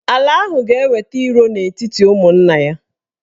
Ala ahụ ga-eweta iro n'etiti ụmụnna ya.